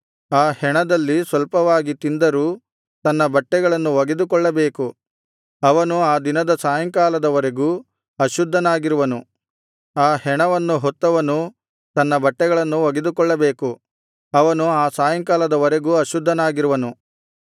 ಆ ಹೆಣದಲ್ಲಿ ಸ್ವಲ್ಪವಾಗಿ ತಿಂದರೂ ತನ್ನ ಬಟ್ಟೆಗಳನ್ನು ಒಗೆದುಕೊಳ್ಳಬೇಕು ಅವನು ಆ ದಿನದ ಸಾಯಂಕಾಲದ ವರೆಗೂ ಅಶುದ್ಧನಾಗಿರುವನು ಆ ಹೆಣವನ್ನು ಹೊತ್ತವನೂ ತನ್ನ ಬಟ್ಟೆಗಳನ್ನು ಒಗೆದುಕೊಳ್ಳಬೇಕು ಅವನು ಆ ಸಾಯಂಕಾಲದ ವರೆಗೂ ಅಶುದ್ಧನಾಗಿರುವನು